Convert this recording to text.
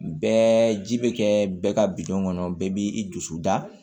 Bɛɛ ji bɛ kɛ bɛɛ ka bidɔn kɔnɔ bɛɛ b'i i dusu da